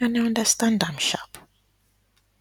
and i understand am sharp